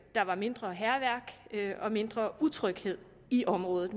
der var mindre hærværk og mindre utryghed i området